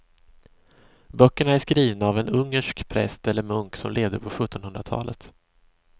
Böckerna är skrivna av en ungersk präst eller munk som levde på sjuttonhundratalet.